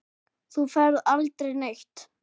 Þú ferð aldrei neitt.